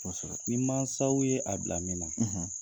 Kɔsɛbɛ. Ni mansaw ye a bila min na